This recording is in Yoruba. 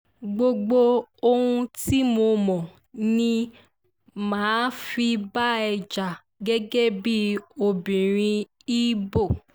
gbogbo ohun tí mo ní mà á fi bá ẹ jà gẹ́gẹ́ bíi obìnrin ibo